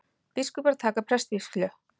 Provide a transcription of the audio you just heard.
Biskupar taka prestsvígslu